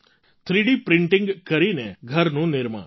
three D printing કરીને ઘરનું નિર્માણ